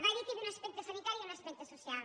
va dir que hi havia un aspecte sanitari i un aspecte social